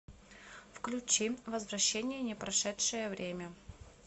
включи возвращение непрошедшее время